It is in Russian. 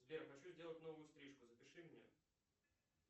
сбер хочу сделать новую стрижку запиши меня